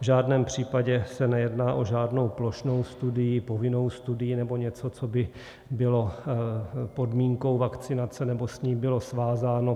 V žádném případě se nejedná o žádnou plošnou studii, povinnou studii nebo něco, co by bylo podmínkou vakcinace nebo s ní bylo svázáno.